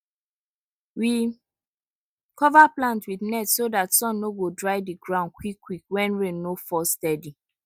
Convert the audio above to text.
we cover plant with net so dat sun no go dry the ground quick quick when rain no fall steady